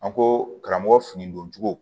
An ko karamɔgɔ fini don cogo